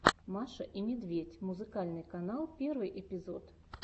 маша и медведь музыкальный канал первый эпизод